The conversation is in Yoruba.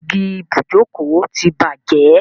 Igi ibùjókòó ti bàjẹ́.